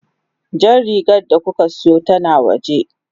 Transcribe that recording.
Jan rigar da kuka siyo tana waje.